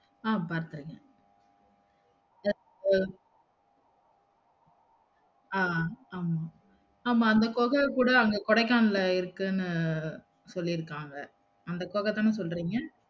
ஆஹ் பார்த்து இருக்கன் அஹ் ஆமா ஆமா அந்த குகை கூட அங்க கொடைக்கானல்ல இருக்குன்னு சொல்லிருக்காங்க அந்த குகை தான சொல்றிங்க